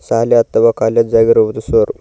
ಶಾಲೆ ಅಥವಾ ಕಾಲೇಜು ಆಗಿರುವುದು ಸರ್ .